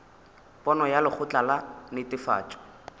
pono ya lekgotla la netefatšo